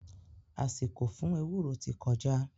Àsìkò fún ewúro ti kọjá